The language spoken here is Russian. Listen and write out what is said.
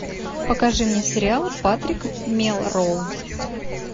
покажи мне сериал патрик мелроуз